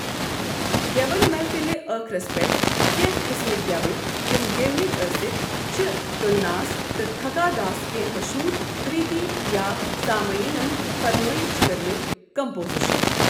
گٮ۪وَن محفِلہ ٲخرَس پیٹھ کینٛہہ قٕسمٕکۍ گٮ۪وٕنۍ یِم گٮ۪ومٕتۍ ٲسٕکھ چھِ تلناس تہٕ تھکاداس کینٛہہ مشہوٗر کریتی یا سٲمعینن فرمٲیِش کٔرمٕتۍ کمپوزیشن۔